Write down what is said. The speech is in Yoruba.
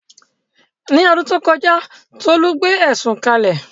Ní ọdún tó kọjá, Tolu gbé ẹ̀sùn kalẹ̀